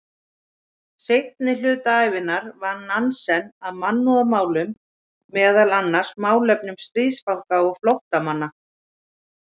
Seinni hluta ævinnar vann Nansen að mannúðarmálum, meðal annars málefnum stríðsfanga og flóttamanna.